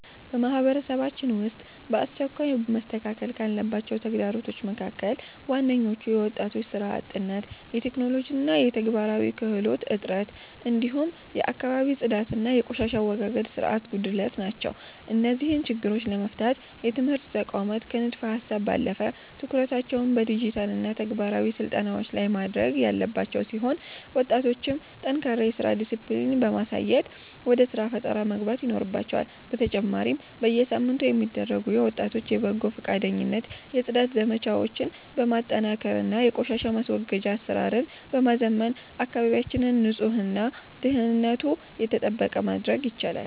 በማህበረሰባችን ውስጥ በአስቸኳይ መስተካከል ካለባቸው ተግዳሮቶች መካከል ዋነኞቹ የወጣቶች ሥራ አጥነት፣ የቴክኖሎጂና የተግባራዊ ክህሎት እጥረት፣ እንዲሁም የአካባቢ ጽዳትና የቆሻሻ አወጋገድ ሥርዓት ጉድለት ናቸው። እነዚህን ችግሮች ለመፍታት የትምህርት ተቋማት ከንድፈ-ሀሳብ ባለፈ ትኩረታቸውን በዲጂታልና ተግባራዊ ስልጠናዎች ላይ ማድረግ ያለባቸው ሲሆን፣ ወጣቶችም ጠንካራ የሥራ ዲስፕሊን በማሳየት ወደ ሥራ ፈጠራ መግባት ይኖርባቸዋል፤ በተጨማሪም በየሳምንቱ የሚደረጉ የወጣቶች የበጎ ፈቃደኝነት የጽዳት ዘመቻዎችን በማጠናከርና የቆሻሻ ማስወገጃ አሰራርን በማዘመን አካባቢያችንን ንጹህና ደህንነቱ የተጠበቀ ማድረግ ይቻላል።